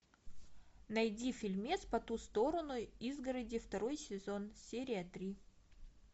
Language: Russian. найди фильмец по ту сторону изгороди второй сезон серия три